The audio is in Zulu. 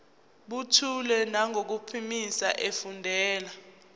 buthule nangokuphimisa efundela